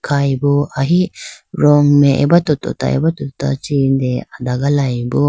khayi bo ahi rong mai abato tota abato tota chee adagalayibo.